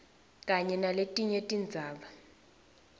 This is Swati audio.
kanye naletinye tindzaba